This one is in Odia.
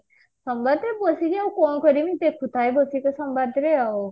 ସମ୍ବାଦ ବସିଛି ଆଉ କଣ କରିବି ଦେଖୁଥାଏ ବସିକି ସମ୍ବାଦ ରେ ଆଉ